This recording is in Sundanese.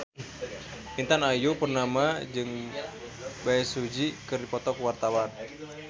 Intan Ayu Purnama jeung Bae Su Ji keur dipoto ku wartawan